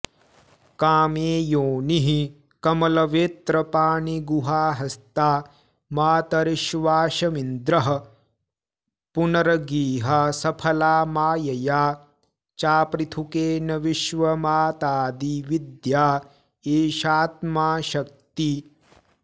कामे योनिः कमलवेत्रपाणिगुहाहस्ता मातरिश्वाशमिन्द्रः पुनर्गेहा सफला मायया चापृथुकेन विश्वमातादि विद्या एषात्मा शक्ति